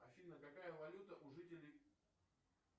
афина какая валюта у жителей